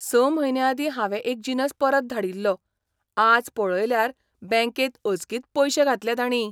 स म्हयने आदीं हावें एक जिनस परत धाडिल्लो. आज पळयल्यार बँकेंत अचकीत पयशे घातले तांणी.